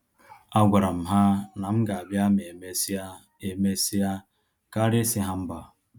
A gwara m ha na m ga-abịa ma emesia emesia karịa isi ha mba